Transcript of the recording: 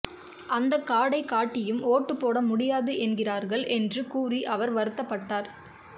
அந்த கார்டை காட்டியும் ஓட்டு போட முடியாது என்கிறார்கள் என்று கூறி அவர் வருத்தப்பட்டார்